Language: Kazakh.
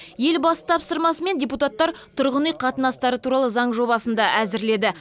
елбасы тапсырмасымен депутаттар тұрғын үй қатынастары туралы заң жобасын да әзірледі